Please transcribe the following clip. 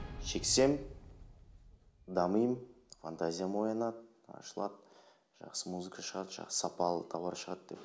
шексем дамимын фантазиям оянады ашылады жақсы музыка шығады жақсы сапалы товар шығады деп